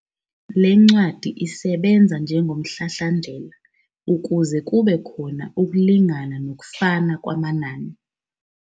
Le ncwadi isebenza njengomhlahlandlela ukuze kube khona ukulingana nokufana kwamanani.